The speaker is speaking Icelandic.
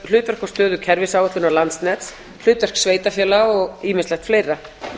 hlutverk og stöðu kerfisáætlunar landsnets hlutverk sveitarfélaga og ýmislegt fleira